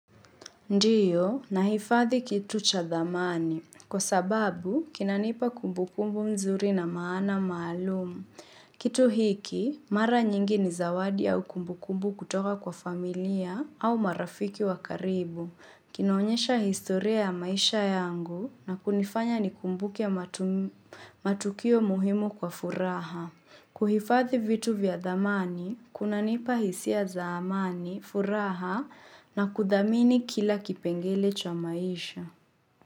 Ndiyo, nahifadhi kitu cha dhamani. Kwa sababu, kinanipa kumbukumbu mzuri na maana maalumu. Kitu hiki, mara nyingi ni zawadi au kumbukumbu kutoka kwa familia au marafiki wa karibu. Kinaonyesha historia ya maisha yangu na kunifanya nikumbuke matukio muhimu kwa furaha. Kuhifadhi vitu vya dhamani, kunanipa hisia za amani, furaha na kudhamini kila kipengele cha maisha.